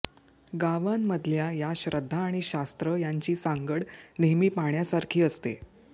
गावांमधल्या या श्रद्धा आणि शास्त्र्ा यांची सांगड नेहमी पाहण्यासारखी असते